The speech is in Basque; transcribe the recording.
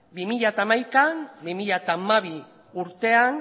bi mila hamaika bi mila hamabi urtean